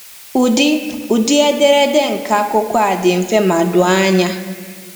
Ụdị Ụdị ederede nke akwụkwọ a dị mfe ma doo anya.